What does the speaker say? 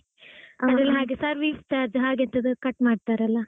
ಅದರಲ್ಲಿ ಹಾಗೆ service charge ಹಾಗೆ ಎಂತದೋ cut ಮಾಡ್ತಾರೆ ಅಲಾ.